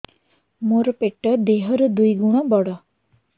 ମୋର ପେଟ ଦେହ ର ଦୁଇ ଗୁଣ ବଡ